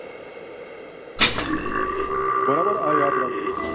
બરાબર યાદ રાખ જો.